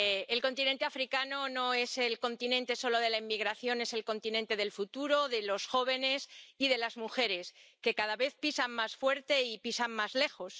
el continente africano no es el continente solo de la inmigración, es el continente del futuro, de los jóvenes y de las mujeres, que cada vez pisan más fuerte y pisan más lejos.